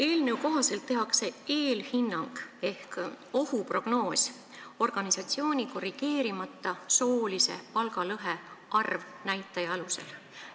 Eelnõu kohaselt tehakse eelhinnang ehk ohuprognoos organisatsiooni korrigeerimata soolise palgalõhe arvnäitaja alusel.